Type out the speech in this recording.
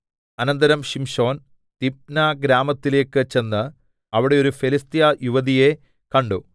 അനന്തരം ശിംശോൻ തിമ്ന ഗ്രാമത്തിലേക്ക് ചെന്ന് അവിടെ ഒരു ഫെലിസ്ത്യയുവതിയെ കണ്ടു